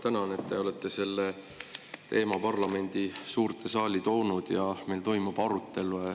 Ma tänan, et te olete selle teema parlamendi suurde saali toonud ja et meil toimub arutelu.